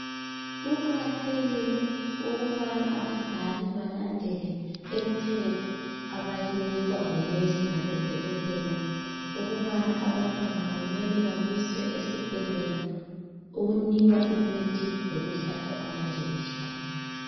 Kuqakathekile ukubana abazali balandele imithetho abayinikwa ngonesi labodokotela ukubana abantwana kumele babiswe esibhedlela ukunikwa imithi lokuhlatshwa amanjekishini.